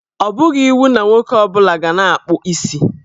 Ọ bụghị iwu na nwoke ọ bụla ga na-akpụ isi.